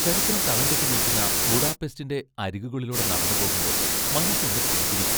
ചരിത്രം തളംകെട്ടി നിൽക്കുന്ന ബുഡാപെസ്റ്റിൻ്റെ അരികുകളിലൂടെ നടന്നുപോകുമ്പോൾ മനസ്സൊന്ന് പുഞ്ചിരിക്കും.